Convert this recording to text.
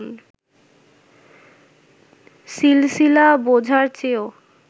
সিলসিলা বোঝার চেয়েও